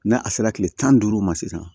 N'a a sera kile tan ni duuru ma sisan